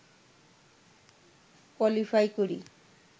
qualify করি